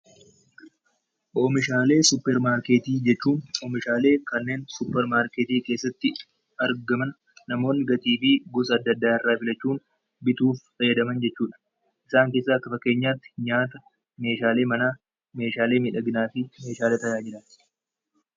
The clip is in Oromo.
Oomishaalee suupparmaarkeetii jechuun meeshaalee kanneen suupparmaarkeetii keessatti argaman namoonni gatii fi gosa adda addaarraa bitachuun bituuf fayyadaman jechuudha. Isaan keessaa akka fakkeenyaatti nyaata meeshaalee manaa, meeshaalee miidhaginaaf meeshaalee tajaajilanidha.